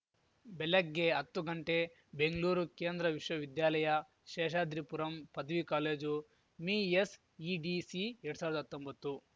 ಬೆಲೆಗ್ಗೆ ಅತ್ತು ಬೆಂಗಳೂರು ಕೇಂದ್ರ ವಿಶ್ವವಿದ್ಯಾಲಯ ಶೇಷಾದ್ರಿಪುರಂ ಪದವಿ ಕಾಲೇಜು ಮಿಎಸ್‌ಇಡಿಸಿ ಎರಡ್ ಸಾವಿರ್ದಾ ಹತ್ತೊಂಬತ್ತು